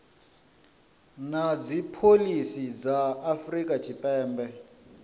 na dzipholisi dza afrika tshipembe